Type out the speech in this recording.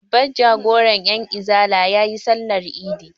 Babban jagoran 'yanizala ya yi sallar idin.